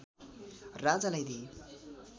राजालाई दिएँ